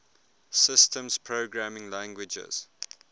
systems programming languages